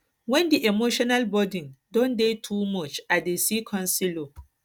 wen di emotional burden don dey too much i dey see counselor